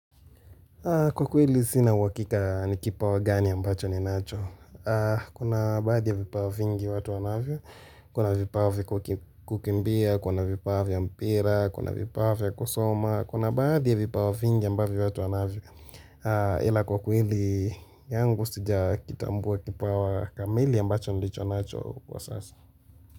Kwa kweli sina uhakika ni kipawa gani ambacho ni nacho. Kuna badhi ya vipawa vingi watu wanavyo. Kuna vipawa viku kukimbia, kuna vipawa vya mpira, kuna vipawa vya kusoma. Kuna badhi ya vipawa vingi ambavyo watu wanavyo. Ila kwa kuili yangu sija kitambua kipawa kamili ambacho nilicho nacho kwa sasa.